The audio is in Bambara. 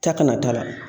Ta kana t'a la